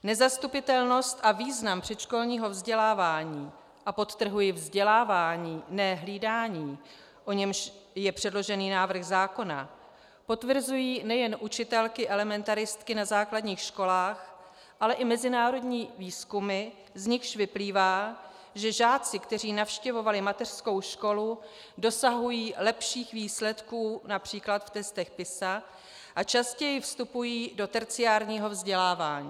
Nezastupitelnost a význam předškolního vzdělávání - a podtrhuji vzdělávání, ne hlídání, o němž je předložený návrh zákona - potvrzují nejen učitelky elementaristky na základních školách, ale i mezinárodní výzkumy, z nichž vyplývá, že žáci, kteří navštěvovali mateřskou školu, dosahují lepších výsledků například v testech PISA a častěji vstupují do terciárního vzdělávání.